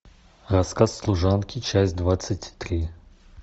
рассказ служанки часть двадцать три